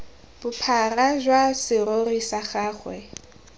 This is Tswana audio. bophara jwa serori sa gagwe